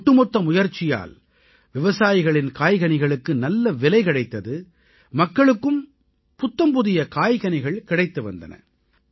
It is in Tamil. இந்த ஒட்டுமொத்த முயற்சியால் விவசாயிகளின் காய்கனிகளுக்கு நல்ல விலை கிடைத்தது மக்களுக்கும் புத்தம்புதிய காய்கனிகள் கிடைத்து வந்தன